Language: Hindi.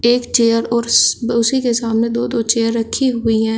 एक चेयर और उसी के सामने दो दो चेयर रखी हुई है।